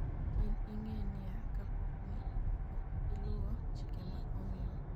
in ing'e niya, kapo ni ok iluwo chike ma omiwa